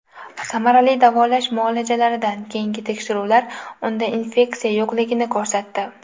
Samarali davolash muolajalaridan keyingi tekshiruvlar unda infeksiya yo‘qligini ko‘rsatdi.